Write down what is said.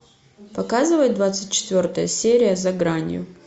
показывай двадцать четвертая серия за гранью